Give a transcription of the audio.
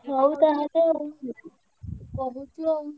ହଉ ତାହେଲେ ଆଉ କହୁଛୁ ଆଉ।